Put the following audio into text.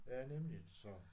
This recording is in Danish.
Ja nemligt så